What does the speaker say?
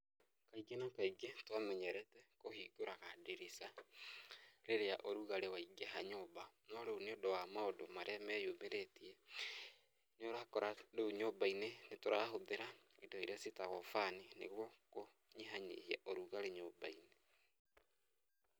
Kaingĩ na kaingĩ twamenyerete kũhingũraga ndirica rĩrĩa ũrugarĩ waingĩha nyũmba. No rĩu nĩũndũ wa maũndũ marĩa meyumbĩritie, nĩũrakora rĩu nyũmba-inĩ nĩtũrahũthĩra indo iria ciĩtagwo fan nĩguo kũnyihanyihia ũrugarĩ nyũmba-inĩ.